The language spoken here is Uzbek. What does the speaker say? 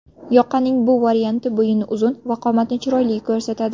Yoqaning bu varianti bo‘yinni uzun va qomatni chiroyli ko‘rsatadi.